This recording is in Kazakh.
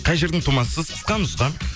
қай жердің тумасысыз қысқа нұсқа